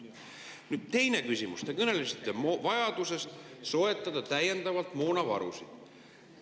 Nüüd, teine küsimus, te kõnelesite vajadusest soetada täiendavalt moonavarusid.